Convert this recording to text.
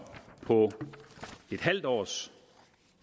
på et halvt års